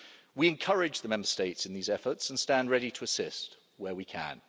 We encourage the Member States in these efforts and stand ready to assist where we can.